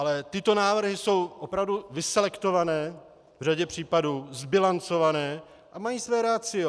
Ale tyto návrhy jsou opravdu vyselektované v řadě případů, zbilancované a mají své ratio.